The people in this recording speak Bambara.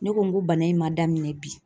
Ne ko n ko bana in ma daminɛ bi